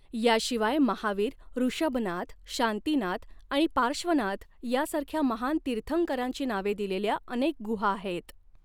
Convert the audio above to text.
याशिवाय महावीर, ऋषभनाथ, शांतिनाथ आणि पार्श्वनाथ यासारख्या महान तीर्थंकरांची नावे दिलेल्या अनेक गुहा आहेत.